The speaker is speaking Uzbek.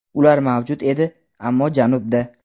Ular mavjud edi, ammo janubda.